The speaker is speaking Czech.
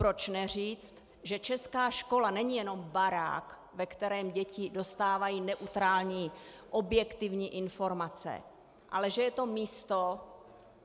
Proč neříct, že česká škola není jenom barák, ve kterém děti dostávají neutrální objektivní informace, ale že je to místo,